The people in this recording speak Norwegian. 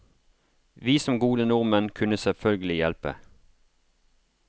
Vi som gode nordmenn kunne selvfølgelig hjelpe.